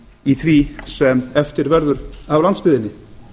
í því sem eftir verður af landsbyggðinni